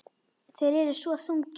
Þeir eru svo þungir.